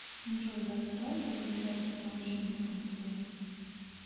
джой вы открываете калькулятор с научными функциями